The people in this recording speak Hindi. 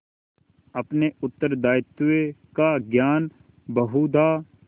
अपने उत्तरदायित्व का ज्ञान बहुधा